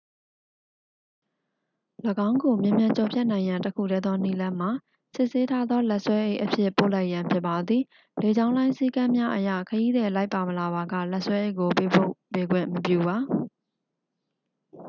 ၎င်းကိုမြန်မြန်ကျော်ဖြတ်နိုင်ရန်တစ်ခုတည်းသောနည်းလမ်းမှာ စစ်ဆေးထားသောလက်ဆွဲအိတ်အဖြစ် ပို့လိုက်ရန်ဖြစ်ပါသည် လေကြောင်းလိုင်းစည်းကမ်းများအရ ခရီးသည်လိုက်ပါမလာပါက လက်ဆွဲအိတ်ကိုပေးပို့ပေးခွင့်မပြုပါ